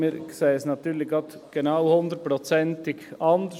Wir sehen es natürlich gerade 100 Prozent anders.